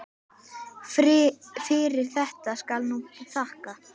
Fyrir þetta skal nú þakkað.